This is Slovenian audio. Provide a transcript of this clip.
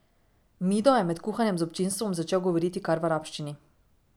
Mido je med kuhanjem z občinstvom začel govoriti kar v arabščini.